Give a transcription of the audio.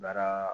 Baaraa